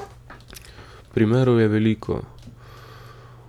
Primerov je veliko.